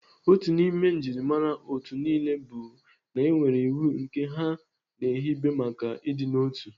Otu n'ime njimara otu niile bụ na enwere iwu nke ha na-ehibe maka ịdịnotu.